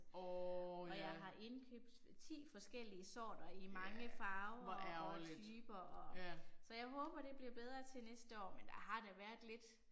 Og jeg har indkøbt 10 forskellige sorter i mange farver og typer og så jeg håber det bliver bedre til næste år, men der har da været lidt